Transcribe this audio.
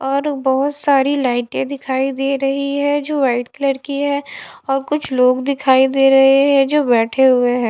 और बहुत सारी लाइटें दिखाई दे रही है जो वाइट कलर की है और कुछ लोग दिखाई दे रहे है जो बैठे हुए है।